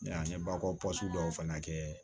an ye bakɔ dɔw fana kɛ